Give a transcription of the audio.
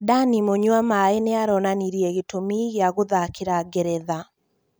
Danny mũnywamaĩ nĩaronanirie gĩtũmi gĩa gũthakĩra Ngeretha